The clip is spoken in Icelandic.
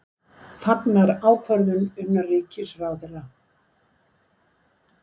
Fagnar ákvörðun innanríkisráðherra